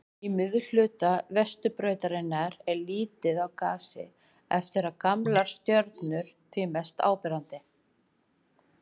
Í miðhluta Vetrarbrautarinnar er lítið af gasi eftir og gamlar stjörnur því mest áberandi.